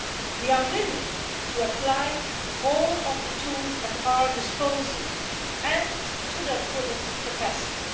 We are willing to apply all of the tools at our disposal and to the fullest capacity.